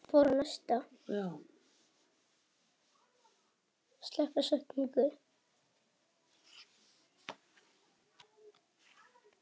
Guðjón hefur ekkert þjálfað síðan hann var hjá Grindavík.